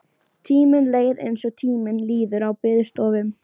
Tíminn leið eins og tíminn líður á biðstofum.